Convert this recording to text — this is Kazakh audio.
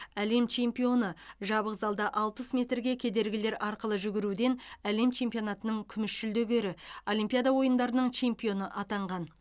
әлем чемпионы жабық залда алпыс метрге кедергілер арқылы жүгіруден әлем чемпионатының күміс жүлдегері олимпиада ойындарының чемпионы атанған